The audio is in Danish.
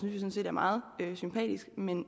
er meget sympatisk men